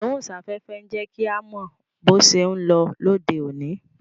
Ìgbóhùn sáfẹ́fẹ́ ń jẹ́ kí a mọ bó ṣé ń lọ lóde òní